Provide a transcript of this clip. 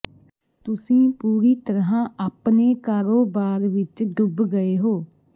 ਤੁਸੀਂ ਪੂਰੀ ਤਰ੍ਹਾਂ ਆਪਣੇ ਕਾਰੋਬਾਰ ਵਿੱਚ ਡੁੱਬ ਗਏ ਹੋ